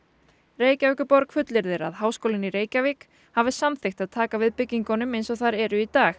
Reykjavíkurborg fullyrðir að Háskólinn í Reykjavík hafi samþykkt að taka við byggingunum eins og þær eru í dag